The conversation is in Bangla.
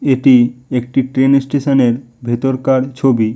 এটি একটি ট্রেন স্টেশন -এর ভেতরকার ছবি।